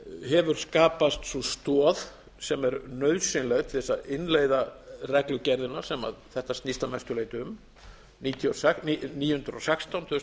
hefur skapast sú stoð sem er nauðsynleg til að innleiða reglugerðina sem þetta snýst að mestu leyti um níu hundruð og sextán tvö þúsund og